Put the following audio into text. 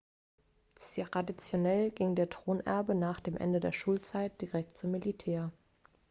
traditionell ging der thronerbe nach dem ende der schulzeit direkt zum militär